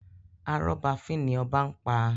Arọ́ba fín ni obá máa ń pa.